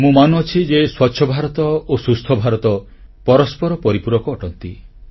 ମୁଁ ମାନୁଛି ଯେ ସ୍ୱଚ୍ଛ ଭାରତ ଓ ସୁସ୍ଥ ଭାରତ ପରସ୍ପର ପରିପୂରକ ଅଟନ୍ତି